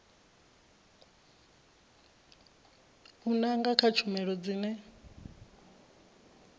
u nanga kha tshumelo dzine